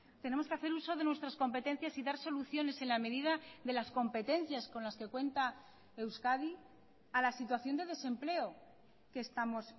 tenemos que hacer uso de nuestras competencias y dar soluciones en la medida de las competencias con las que cuenta euskadi a la situación de desempleo que estamos